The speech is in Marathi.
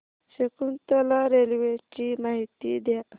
शकुंतला रेल्वे ची माहिती द्या